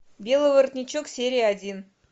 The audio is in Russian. белый воротничок серия один